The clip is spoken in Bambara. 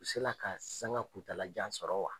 U sela ka sanga kuntaala jan sɔrɔ wa?